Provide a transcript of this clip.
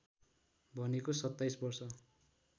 भनेको २७ वर्ष